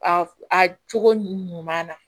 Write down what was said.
A a cogo ɲuman na